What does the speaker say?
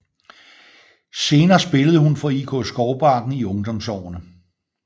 Senere spillede hun for IK Skovbakken i ungdomsårene